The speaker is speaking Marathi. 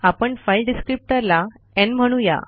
आपण फाइल डिस्क्रिप्टर ला न् म्हणू या